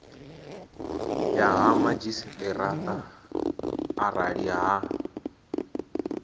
ya ha madzhisiṱaraṱa arali ha